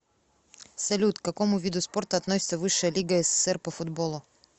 салют к какому виду спорта относится высшая лига ссср по футболу